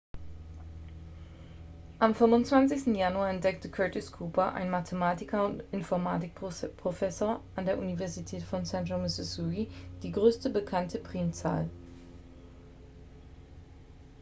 am 25. januar entdeckte curtis cooper ein mathematiker und informatik-professor an der university of central missouri die größte bekannte primzahl